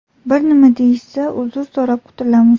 Bir nima deyishsa, uzr so‘rab qutulamiz.